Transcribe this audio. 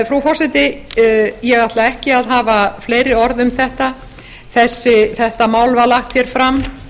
frú forseti ég ætla ekki að hafa fleiri orð um þetta þetta mál var lagt hér fram